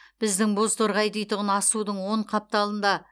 біздің бозторғай дейтұғын асудың оң қапталында